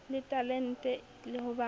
le talente le ho ba